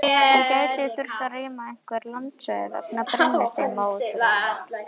En gæti þurft að rýma einhver landsvæði vegna brennisteinsmóðunnar?